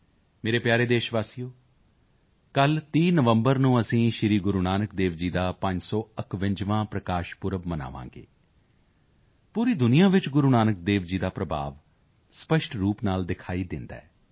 ਮੇਰੇ ਪਿਆਰੇ ਦੇਸ਼ਵਾਸੀਓ ਕੱਲ੍ਹ 30 ਨਵੰਬਰ ਨੂੰ ਅਸੀਂ ਸ੍ਰੀ ਗੁਰੂ ਨਾਨਕ ਦੇਵ ਜੀ ਦਾ 551ਵਾਂ ਪ੍ਰਕਾਸ਼ ਪੁਰਬ ਮਨਾਵਾਂਗੇ ਪੂਰੀ ਦੁਨੀਆ ਵਿੱਚ ਗੁਰੂ ਨਾਨਕ ਦੇਵ ਜੀ ਦਾ ਪ੍ਰਭਾਵ ਸਪਸ਼ਟ ਰੂਪ ਨਾਲ ਦਿਖਾਈ ਦਿੰਦਾ ਹੈ